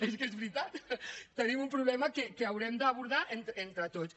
és que és veritat tenim un problema que haurem d’abordar entre tots